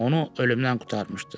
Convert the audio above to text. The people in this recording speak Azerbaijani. Onu ölümdən qurtarmışdı.